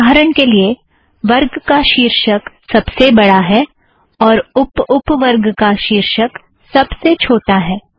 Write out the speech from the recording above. उदाहरण के लिए - वर्ग का शीर्षक सब से बड़ा है और उप उप वर्ग का शीर्षक सब से छोटी है